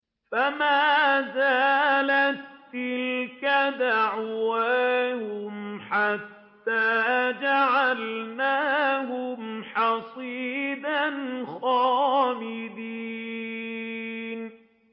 فَمَا زَالَت تِّلْكَ دَعْوَاهُمْ حَتَّىٰ جَعَلْنَاهُمْ حَصِيدًا خَامِدِينَ